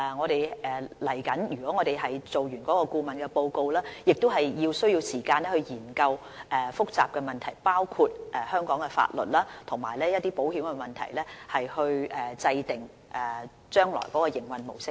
當完成顧問報告後，我們需要時間研究複雜的問題，包括香港的法律及保險問題，從而制訂將來的營運模式。